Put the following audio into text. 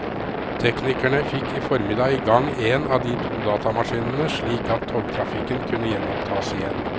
Teknikere fikk i formiddag i gang en av de to datamaskinene slik at togtrafikken kunne gjenopptas igjen.